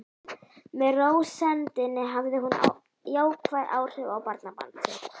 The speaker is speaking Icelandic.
Með rósemdinni hafði hún jákvæð áhrif á barnabarn sitt.